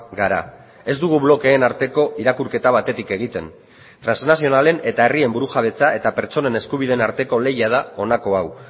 gara ez dugu blokeen arteko irakurketa batetik egiten trasnazionalen eta herrien burujabetza eta pertsonen eskubideen arteko lehia da honako hau